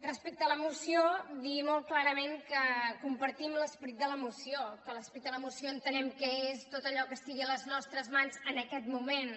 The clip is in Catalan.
respecte a la moció dir molt clarament que compar·tim l’esperit de la moció que l’esperit de la moció en·tenem que és tot allò que estigui a les nostres mans en aquest moment